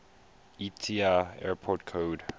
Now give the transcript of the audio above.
iata airport code